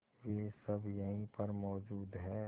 वे सब यहीं पर मौजूद है